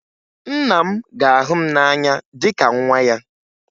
Nna m ga-ahụ m n'anya dịka nwa ya